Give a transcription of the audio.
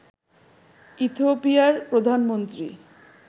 ইথিওপিয়ার প্রধানমন্ত্রী